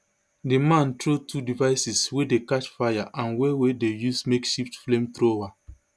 di man throw two devices wey dey catch fire and wey wey dey use makeshift flamethrower